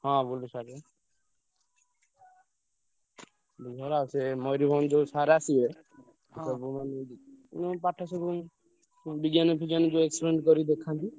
ହଁ ବୁଲୁ sir ବା। Bulu sir ଆଉ ସେ ମୟୂରଭଞ୍ଜ ଯୋଉ sir ଆସିବେ ସେ ସବୁ ମାନେ ମାନେ ପାଠ ସବୁ ବିଜ୍ଞାନ ଫିଜ୍ଞାନ ଯୋଉ experiment କରି ଦେଖନ୍ତି।